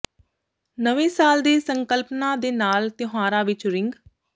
ਨਵੇਂ ਸਾਲ ਦੇ ਸੰਕਲਪਾਂ ਦੇ ਨਾਲ ਤਿਉਹਾਰਾਂ ਵਿੱਚ ਰਿੰਗ